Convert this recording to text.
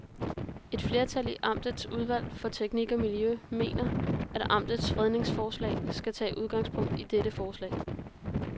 Et flertal i amtets udvalg for teknik og miljø mener, at amtets fredningsforslag skal tage udgangspunkt i dette forslag.